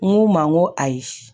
N go n ma ko ayi